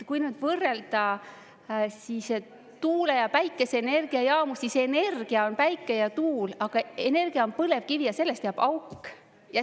Kui nüüd võrrelda siis tuule- ja päikeseenergiajaamu, siis energia on päike ja tuul, aga energia on põlevkivi ja sellest jääb auk.